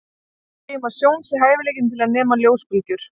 Við segjum að sjón sé hæfileikinn til að nema ljósbylgjur.